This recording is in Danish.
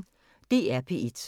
DR P1